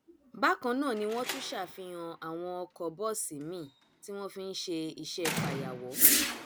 bákan náà ni wọn tún ṣàfihàn àwọn ọkọ bọọsì miín tí wọn fi ń ṣe iṣẹ fàyàwọ